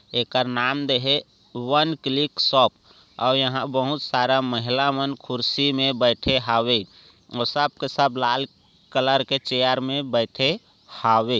इकर नाम देहे वन क्लिक शॉप ओर यहा बोहोत सारा महिला मन कुर्सी मे बेठे हावे ओर सब के सब लाल कलर के चैर मे बेठे हावे।